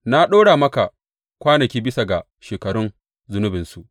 Na ɗora maka kwanaki bisa ga shekarun zunubinsu.